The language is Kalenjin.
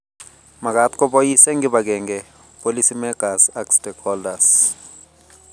Makaat kobois eng kibagenge policymakers ak stakeholders